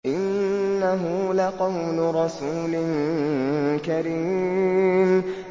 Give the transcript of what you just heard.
إِنَّهُ لَقَوْلُ رَسُولٍ كَرِيمٍ